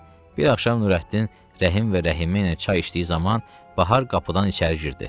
Bir axşam Nurəddin, Rəhim və Rəhimə ilə çay içdiyi zaman Bahar qapıdan içəri girdi.